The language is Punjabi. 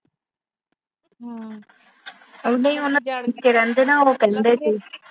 ਕੇ ਰਹਿੰਦੇ, ਉਹ ਕੱਲੇ ਸੀ।